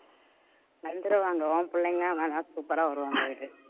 வந்துருவாங்க உன் பிள்ளைங்க வேணா super ஆ வருவாங்க பாரு